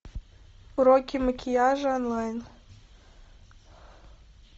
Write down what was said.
уроки макияжа онлайн